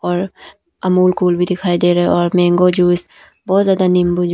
और अमूल कूल भी दिखाई दे रहा है और मैंगो जूस बहुत ज्यादा नींबू जूस --